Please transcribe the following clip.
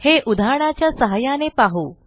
हे उदाहरणाच्या सहाय्याने पाहू